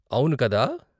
అవును, కదా?